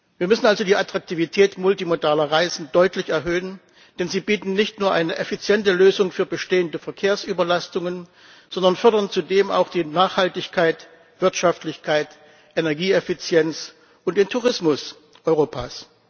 Wir müssen also die Attraktivität multimodaler Reisen deutlich erhöhen, denn sie bieten nicht nur eine effiziente Lösung für bestehende Verkehrsüberlastungen, sondern fördern zudem auch die Nachhaltigkeit, Wirtschaftlichkeit, Energieeffizienz und den Tourismus Europas.